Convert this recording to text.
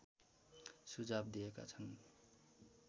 सुझाव दिएका छन्